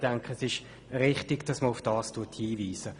Ich denke, es ist richtig, darauf hinzuweisen.